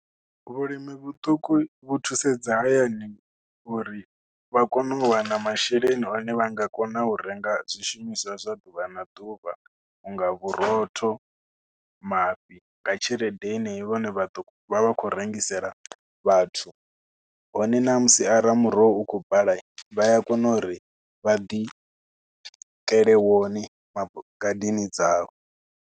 Vhulimi vhuṱuku vhu thusedza hayani uri vha kone u wana na masheleni ane vha nga kona u renga zwishumiswa zwa ḓuvha na ḓuvha. U nga vhurotho, mafhi nga i tshelede yenei ine vha ḓo vha vha khou rengisela vhathu hone namusi arali muroho u khou bala vha a kona uri vha ḓiitele wone ma, ngadeni dzavho.